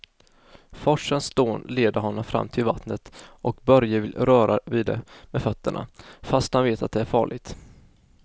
Forsens dån leder honom fram till vattnet och Börje vill röra vid det med fötterna, fast han vet att det är farligt.